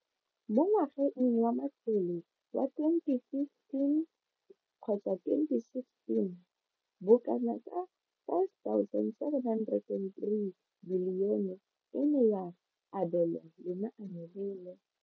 Mo ngwageng wa matlole wa 2015 kgotsa 2016, bokanaka 5 703 bilione e ne ya abelwa lenaane leno.